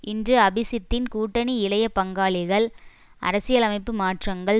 இன்று அபிசித்தின் கூட்டணி இளைய பங்காளிகள் அரசியலமைப்பு மாற்றங்கள்